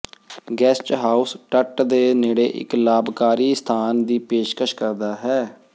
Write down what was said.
guest house ਤਟ ਦੇ ਨੇੜੇ ਇੱਕ ਲਾਭਕਾਰੀ ਸਥਾਨ ਦੀ ਪੇਸ਼ਕਸ਼ ਕਰਦਾ ਹੈ